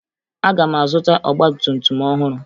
Aga m azụta ọgbatumtum ọhụrụ